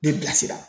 Bɛ bilasira